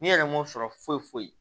N'i yɛrɛ m'o sɔrɔ foyi foyi